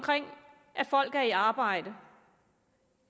at folk er i arbejde